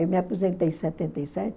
Eu me aposentei em setenta e sete